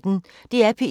DR P1